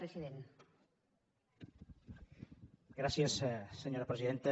gràcies senyora presidenta